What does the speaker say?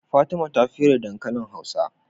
Fatima ta fere dankalin hausa